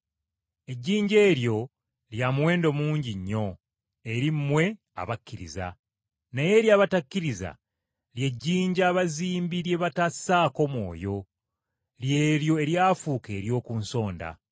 Ejjinja eryo lya muwendo mungi nnyo eri mmwe abakkiriza. Naye eri abatakkiriza, “Lye jjinja abazimbi lye baagaana, lye lifuuse ejjinja ekkulu ery’oku nsonda.”